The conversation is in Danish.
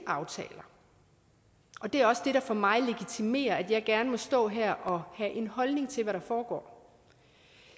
aftaler og det er også det der for mig legitimerer at jeg gerne må stå her og have en holdning til hvad der foregår